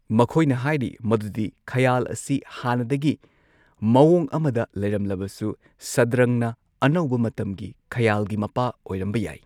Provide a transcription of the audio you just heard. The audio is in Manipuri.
ꯃꯈꯣꯏꯅ ꯍꯥꯏꯔꯤ ꯃꯗꯨꯗꯤ ꯈꯌꯥꯜ ꯑꯁꯤ ꯍꯥꯟꯅꯗꯒꯤ ꯃꯑꯣꯡ ꯑꯃꯗ ꯂꯩꯔꯝꯂꯕꯁꯨ, ꯁꯗ꯭ꯔꯪꯅ ꯑꯅꯧꯕ ꯃꯇꯝꯒꯤ ꯈꯌꯥꯜꯒꯤ ꯃꯄꯥ ꯑꯣꯏꯔꯝꯕ ꯌꯥꯏ꯫